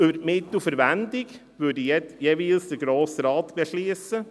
Über die Mittelverwendung würde jeweils der Grosse Rat beschliessen.